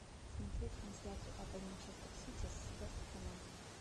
смотреть трансляцию апл манчестер сити с вест хэмом